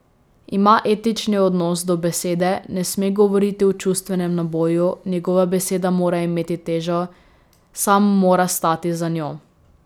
Ima etični odnos do besede, ne sme govoriti v čustvenem naboju, njegova beseda mora imeti težo, sam mora stati za njo.